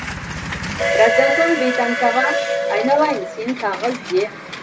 біраздан соң бейтаныс аға айналайын сен тағы ізде